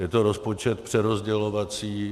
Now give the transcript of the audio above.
Je to rozpočet přerozdělovací.